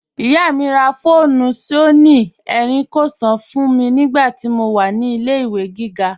Iyá mi rá fóònù Sónìì Éríkínsọn fún mi nigbàtí mó wà ní ilẹ̀-ìwé gígá.